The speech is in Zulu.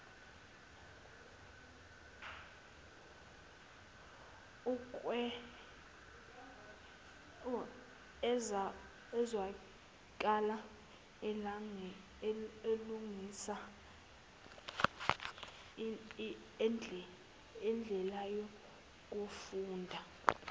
ezwakale elungisa indlelayokufunda